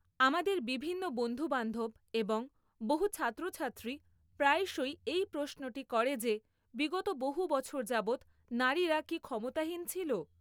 আমাদের বিভিন্ন বন্ধুবান্ধব এবং বহু ছাত্রছাত্রী প্রায়শই এই প্রশ্নটি করে যে বিগত বহু বছর যাবৎ নারীরা কি ক্ষমতাহীন ছিল?